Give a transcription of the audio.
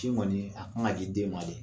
Ci kɔni a kan ka di den ma de